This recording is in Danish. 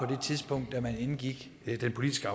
det tidspunkt da man indgik den politiske